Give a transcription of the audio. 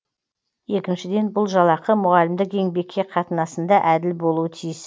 екіншіден бұл жалақы мұғалімдік еңбекке қатынасында әділ болуы тиіс